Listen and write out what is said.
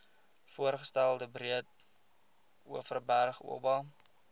voorgestelde breedeoverberg oba